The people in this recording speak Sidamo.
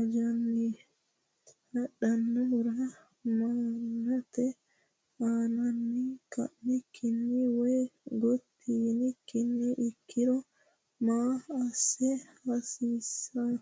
ajjanni hadhannohura ma’nate aaninni ka”annokkiha woy gotti yaannokkiha ikkiro maa assa haasiisano?